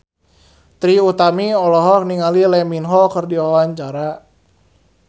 Trie Utami olohok ningali Lee Min Ho keur diwawancara